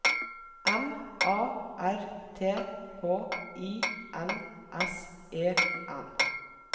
M A R T H I N S E N